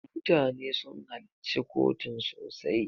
MUtane sun halacci kotun sosai.